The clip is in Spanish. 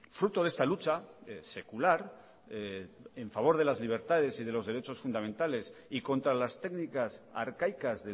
fruto de esta lucha secular en favor de las libertades y de los derechos fundamentales y contra las técnicas arcaicas